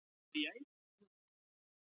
spurðu þeir stundum og klóruðu sér í kollinum.